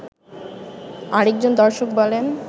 আরেকজন দর্শক বলেন